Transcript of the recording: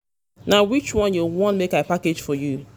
na which one you wan make i package for you?